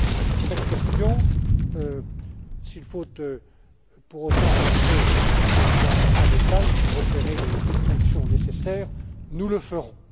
Sur cette question, s'il faut, pour autant, entrer dans certains détails pour opérer les distinctions nécessaires, nous le ferons.